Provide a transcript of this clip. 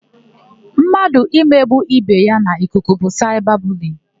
Mmadụ imegbu ibe ya n'ikuku bụ saịba buliyin.